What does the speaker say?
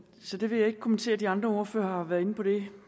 så det vil jeg ikke kommentere de andre ordførere har været inde på det